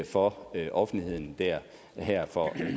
for offentligheden her for